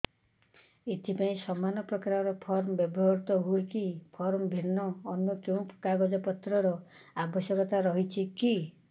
ଏଥିପାଇଁ ସମାନପ୍ରକାର ଫର୍ମ ବ୍ୟବହୃତ ହୂଏକି ଫର୍ମ ଭିନ୍ନ ଅନ୍ୟ କେଉଁ କାଗଜପତ୍ରର ଆବଶ୍ୟକତା ରହିଛିକି